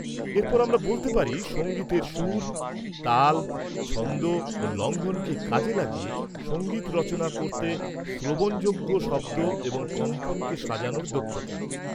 -এরপর আমরা বলতে পারি সঙ্গীত সুর, তাল, ছন্দ ও লঙ্ঘনকে কাজে লাগিয়ে সংগীত রচনা করতে শ্রবণযোগ্য শব্দ এবং কম্পনকে সাজানোর দক্ষতা।